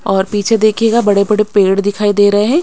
और पीछे देखिएगा बड़े-बड़े पेड़ दिखाई दे रहे हैं।